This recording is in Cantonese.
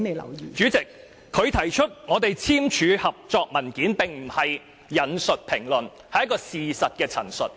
代理主席，她指出我們簽訂合作文件，這並非引述評論，而是事實陳述。